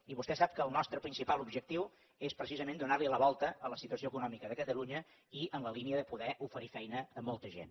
i vostè sap que el nostre principal objectiu és precisament donar li la volta a la situació econòmica de catalunya i en la línia de poder oferir feina a molta gent